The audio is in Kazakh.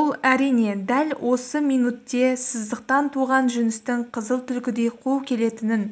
ол әрине дәл осы минутте сыздықтан туған жүністің қызыл түлкідей қу келетінін